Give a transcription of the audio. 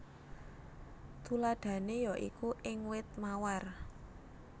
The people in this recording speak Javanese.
Tuladhané ya iku ing wit mawar